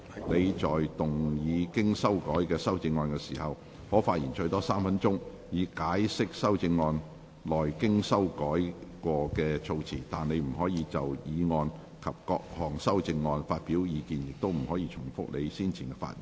你在動議經修改的修正案時，可發言最多3分鐘，以解釋修正案內經修改的措辭，但你不可再就議案及各項修正案發表意見，亦不可重複你先前的發言。